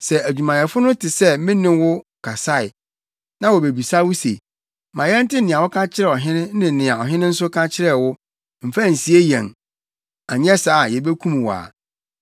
Sɛ adwumayɛfo no te sɛ me ne wo kasae, na wobebisa wo se, ‘Ma yɛnte nea woka kyerɛɛ ɔhene ne nea ɔhene nso ka kyerɛɛ wo; mfa nsie yɛn anyɛ saa a yebekum wo a,’